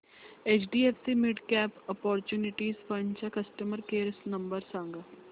HDFC midcap opportunities fund चा customer care number सांग